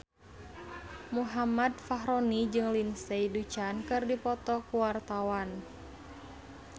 Muhammad Fachroni jeung Lindsay Ducan keur dipoto ku wartawan